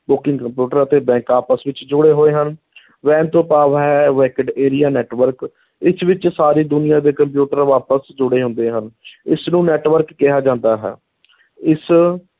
Booking computer ਅਤੇ bank ਆਪਸ ਵਿੱਚ ਜੁੜੇ ਹੋਏ ਹਨ WAN ਤੋਂ ਭਾਵ ਹੈ wide area network ਇਸ ਵਿੱਚ ਸਾਰੀ ਦੁਨੀਆਂ ਦੇ ਕੰਪਿਊਟਰ ਆਪਸ ਚ ਜੁੜੇ ਹੁੰਦੇ ਹਨ ਇਸ ਨੂੰ network ਕਿਹਾ ਜਾਂਦਾ ਹੈ ਇਸ